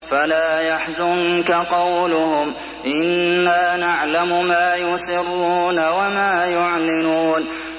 فَلَا يَحْزُنكَ قَوْلُهُمْ ۘ إِنَّا نَعْلَمُ مَا يُسِرُّونَ وَمَا يُعْلِنُونَ